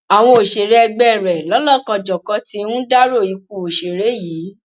àwọn òṣèré ẹgbẹ rẹ lọlọkanjọkan ti ń dárò ikú òṣèré yìí